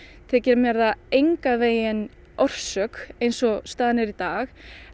þykir mér það engan veginn orsök eins og staðan er í dag